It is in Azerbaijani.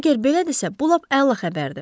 Əgər belədirsə, bu lap əla xəbərdir.